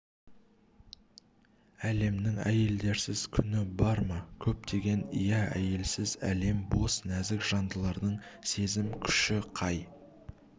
әлемнің әйелдерсіз күні бар ма көктеген ия әйелсіз әлем бос нәзік жандылардың сезім күші қай